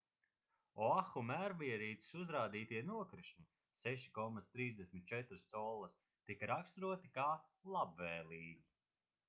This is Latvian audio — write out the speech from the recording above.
oahu mērierīces uzrādītie nokrišņi 6,34 collas tika raksturoti kā labvēlīgi